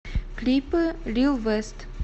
клипы лил вэст